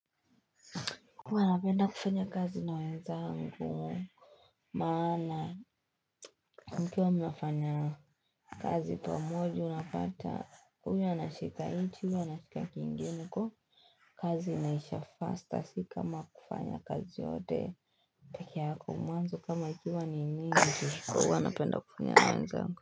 Huwu napenda kufanya kazi na wenzangu Maana mkiwa mnafanya kazi pamoja unapata huyu anashika hichi huyu anashika kingine huku kazi inaisha faster si kama kufanya kazi yote peke yako mwanzo kama ikiwa ni nyingi huwa napenda kufanya na wenzangu.